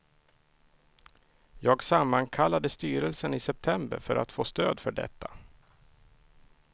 Jag sammankallade styrelsen i september för att få stöd för detta.